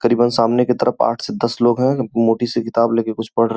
करीबन सामने की तरफ आठ से दस लोग हैं मोटी सी किताब लेकर कुछ पढ़ रहे --